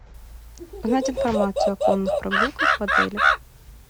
узнать информацию о конных прогулках в отеле